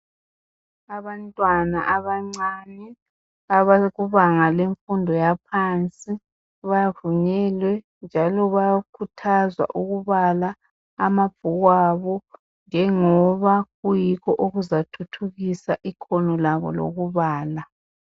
Abantwana abancane abalokubanga lemfundo yaphansi bavunyelwe njalo bayakhuthazwa ukubala amabhuku abo njengoba kuyikho okuzathuthukisa ikhono labo lokubala.